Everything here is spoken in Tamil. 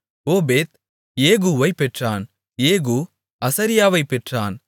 ஓபேத் ஏகூவைப் பெற்றான் ஏகூ அசரியாவைப் பெற்றான்